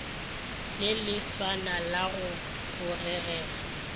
le leswana la go bogega